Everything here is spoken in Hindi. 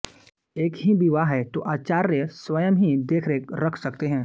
एक ही विवाह है तो आचार्य स्वयं ही देखरेख रख सकते हैं